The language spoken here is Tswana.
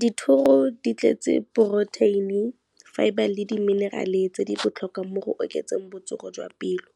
Dithoro di tletse protein-i, fibre le di-mineral-e tse di botlhokwa mo go oketseng botsogo jwa pelo,